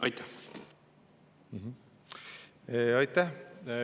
Aitäh!